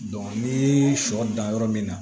ni sɔ dan yɔrɔ min na